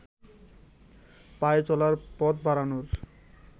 পায়ে চলার পথ বাড়ানোর